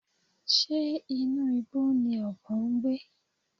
Ṣé inú igbó ni ọ̀bọ ń gbé?